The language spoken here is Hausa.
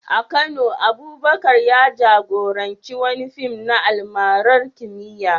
A Kano, Abubakar ya jagoranci wani fim na almarar kimiyya